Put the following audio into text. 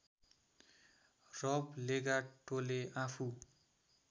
रब लेगाटोले आफू